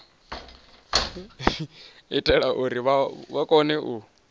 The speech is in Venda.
itela uri vha kone u